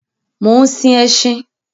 Mò ń sin ẹṣin